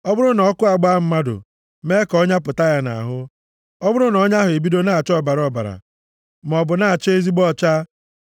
“Ọ bụrụ na ọkụ agbaa mmadụ, mee ka ọnya pụta ya nʼahụ: ọ bụrụ na ọnya ahụ ebido na-acha ọbara ọbara, maọbụ na-acha ezigbo ọcha,